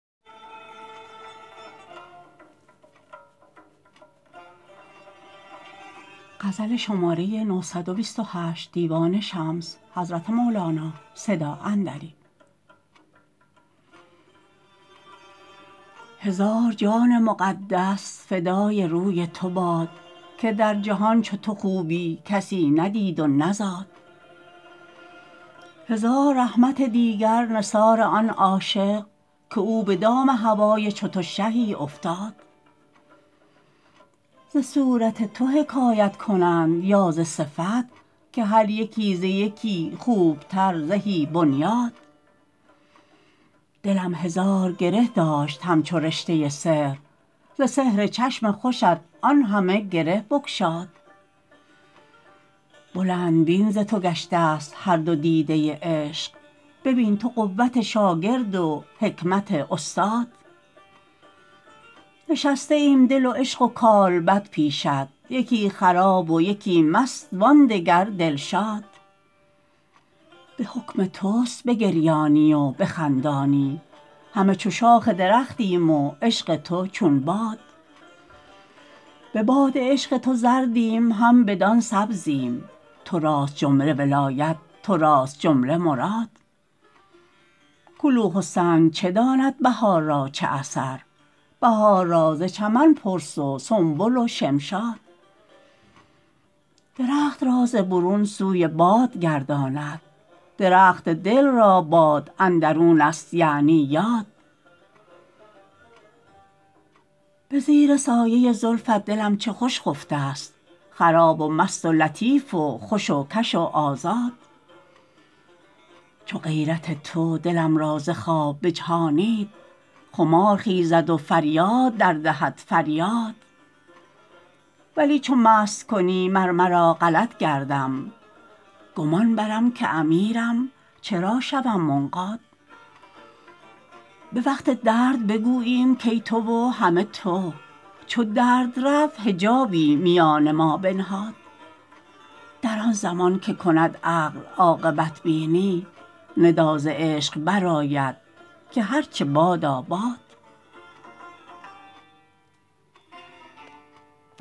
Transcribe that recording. هزار جان مقدس فدای روی تو باد که در جهان چو تو خوبی کسی ندید و نزاد هزار رحمت دیگر نثار آن عاشق که او به دام هوای چو تو شهی افتاد ز صورت تو حکایت کنند یا ز صفت که هر یکی ز یکی خوبتر زهی بنیاد دلم هزار گره داشت همچو رشته سحر ز سحر چشم خوشت آن همه گره بگشاد بلندبین ز تو گشتست هر دو دیده عشق ببین تو قوت شاگرد و حکمت استاد نشسته ایم دل و عشق و کالبد پیشت یکی خراب و یکی مست وان دگر دلشاد به حکم تست بگریانی و بخندانی همه چو شاخ درختیم و عشق تو چون باد به باد عشق تو زردیم هم بدان سبزیم تو راست جمله ولایت تو راست جمله مراد کلوخ و سنگ چه داند بهار را چه اثر بهار را ز چمن پرس و سنبل و شمشاد درخت را ز برون سوی باد گرداند درخت دل را باد اندرونست یعنی یاد به زیر سایه زلفت دلم چه خوش خفته ست خراب و مست و لطیف و خوش و کش و آزاد چو غیرت تو دلم را ز خواب بجهانید خمار خیزد و فریاد دردهد فریاد ولی چو مست کنی مر مرا غلط گردم گمان برم که امیرم چرا شوم منقاد به وقت درد بگوییم کای تو و همه تو چو درد رفت حجابی میان ما بنهاد در آن زمان که کند عقل عاقبت بینی ندا ز عشق برآید که هرچ بادا باد